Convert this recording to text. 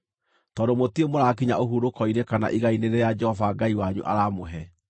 tondũ mũtirĩ mũraakinya ũhurũko-inĩ kana igai-inĩ rĩrĩa Jehova Ngai wanyu aramũhe.